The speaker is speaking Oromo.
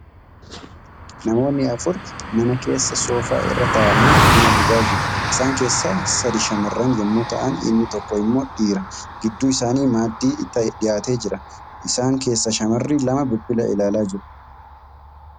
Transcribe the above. Namoonni afur mana keessa soofaa irra taa'anii buna dhugaa jiru. Isaan keessaa sadii shamarran yemmuu ta'an inni tokko immoo dhiira. Gidduu isaanii maaddii dhiyaatee jira. Isaan keessaa shamarri lama bilbila ilaalaa jiru.